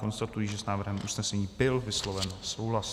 Konstatuji, že s návrhem usnesení byl vysloven souhlas.